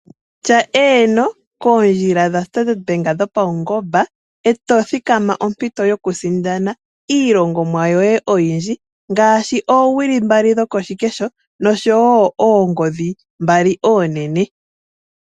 Tya eeno koondjila dha standard bank dhopaungomba eto kutha ompito yokusindana iilongomwa yoye oyindji. Ngaashi oowili mbali dhokoshikesho nosho woo oongodhi mbali oonene.